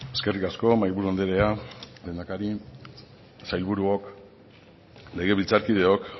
eskerrik asko mahaiburu andrea lehendakari sailburuok legebiltzarkideok